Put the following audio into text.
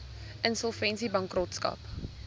insolvensiebankrotskap